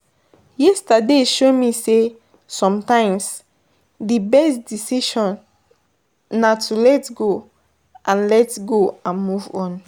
Yesterday show me say, sometimes di best decision na to let go and let go and move on.